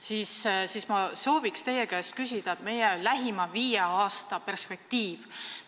Sellega seoses ma soovin teie käest küsida lähima viie aasta perspektiivi kohta.